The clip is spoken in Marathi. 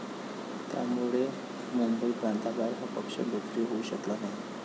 त्यामुळे मुंबईप्रांताबाहेर हा पक्ष लोकप्रिय होऊ शकला नाही.